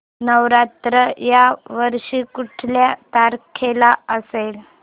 नवरात्र या वर्षी कुठल्या तारखेला असेल